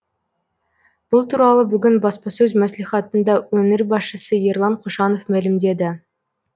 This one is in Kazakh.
бұл туралы бүгін баспасөз мәслихатында өңір басшысы ерлан қошанов мәлімдеді